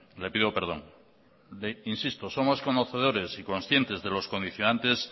le pido perdón insisto somos conocedores y conscientes de los condicionantes